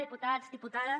diputats diputades